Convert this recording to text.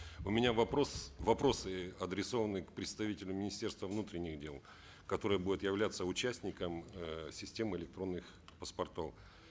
у меня вопрос вопросы адресованы к представителю министерства внутренних дел которое будет являться участником э системы электронных паспортов